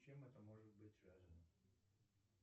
с чем это может быть связано